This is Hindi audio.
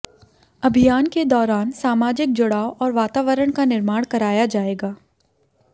अभियान के दौरान सामाजिक जुड़ाव और वातावरण का निर्माण कराया जायेगा